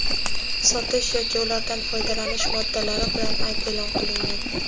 sotish yoki ulardan foydalanish) moddalari bilan ayb e’lon qilingan.